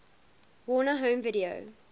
warner home video